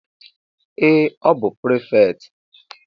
Ee! Ọ bụ prịfektị.